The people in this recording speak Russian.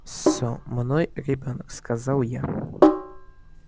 со мной ребёнок сказал я